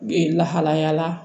Ee lahalaya la